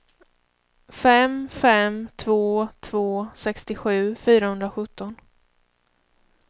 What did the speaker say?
fem fem två två sextiosju fyrahundrasjutton